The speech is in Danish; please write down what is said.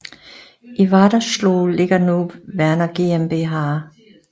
I Wadersloh ligger nu Werner GmbH